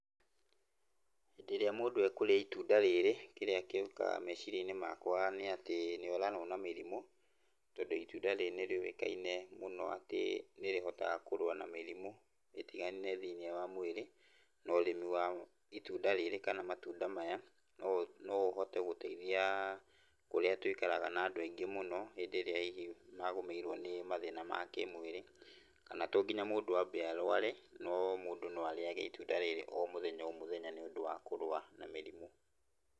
Rĩrĩa mũndũ ekũrĩa itunda rĩrĩ, kĩrĩa gĩukaga meciria-inĩ nĩ atĩ, nĩ oranwo na mĩrimũ tondũ itunda rĩrĩ nĩ rĩũĩkaine mũno atĩ nĩ rĩhotaga kũrũa na mĩrimũ ĩtigane thĩinĩ wa mwĩrĩ. Na ũrĩmi wa itunda rĩrĩ kana matunda maya no ũhote gũteithia ũrĩa tũikaraga na andũ aingĩ mũno hĩndĩ ĩrĩa magũmĩirwo nĩ mathĩna ma kĩmwĩrĩ. Kana to nginya mũndũ arũare, no mũndũ arĩage itunda rĩrĩ o mũthenya o mũthenya nĩũndũ wa kũrũa na mĩrimũ.